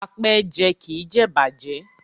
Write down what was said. Apẹ́ẹ́jẹ kì í jẹ ìbàjẹ́.